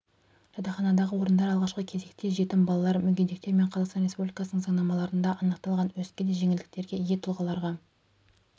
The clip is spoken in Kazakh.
жатақханадағы орындар алғашқы кезекте жетім балалар мүгедектер мен қазақстан республикасының заңнамаларында анықталған өзге де жеңілдіктерге ие тұлғаларға